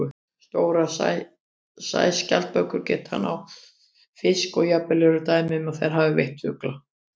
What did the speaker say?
Stórar sæskjaldbökur geta náð fiski og jafnvel eru dæmi um að þær hafi veitt fugla.